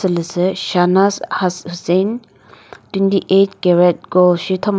shasnaz husain twenty eight carat gold she thoma.